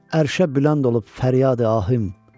Ərşə bülənd olub fəryadı ahim.